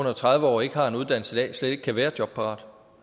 under tredive år og ikke har en uddannelse i dag slet ikke kan være jobparat